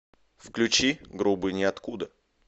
включи грубый ниоткуда